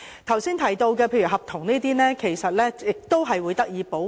剛才提到例如合約的問題，其實亦會得到保護。